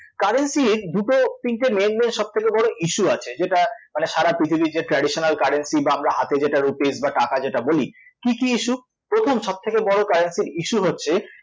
currency এর দুটো তিনটে main~ main সবথেকে বড় issue আছে যেটা মানে সারা পৃথিবীর যে traditional currency বা আমরা হাতে যেটা rupees বা টাকা যেটা বলি, কী কী issue প্রথম সবথেকে বড় currency এর issue হচ্ছে